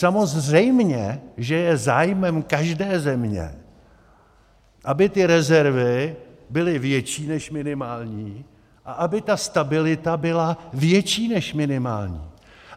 Samozřejmě že je zájmem každé země, aby ty rezervy byly větší než minimální a aby ta stabilita byla větší než minimální.